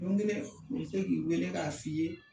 Don kelen u bi se k'i wele k'a f'i ye